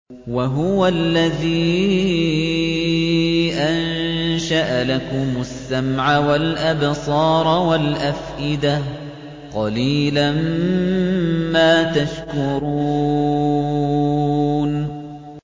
وَهُوَ الَّذِي أَنشَأَ لَكُمُ السَّمْعَ وَالْأَبْصَارَ وَالْأَفْئِدَةَ ۚ قَلِيلًا مَّا تَشْكُرُونَ